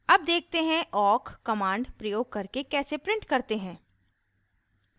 awk देखते हैं awk command प्रयोग करके कैसे print करते हैं